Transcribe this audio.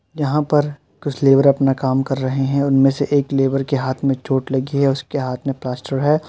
यहां पर कुछ लेबर अपना काम कर रहे हैं। उनमें से एक लेबर के हाथ में चोट लगी है। उसके हाथ मे प्लास्टर है।